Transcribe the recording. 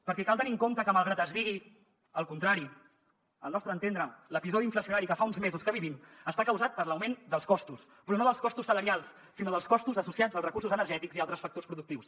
perquè cal tenir en compte que malgrat que es digui el contrari al nostre entendre l’episodi inflacionari que fa uns mesos que vivim està causat per l’augment dels costos però no dels costos salarials sinó dels costos associats als recursos energètics i a altres factors productius